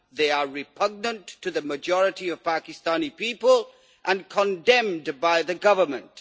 They are repugnant to the majority of Pakistani people and condemned by the government.